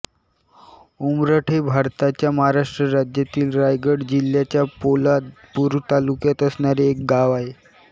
उमरठ हे भारताच्या महाराष्ट्र राज्यातील रायगड जिल्ह्याच्या पोलादपूर तालुक्यात असणारे एक गांव आहे